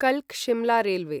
कल्क Shimla railway